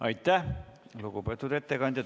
Aitäh, lugupeetud ettekandja!